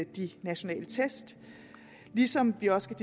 de nationale test ligesom vi også